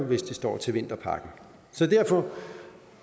hvis det står til vinterpakken derfor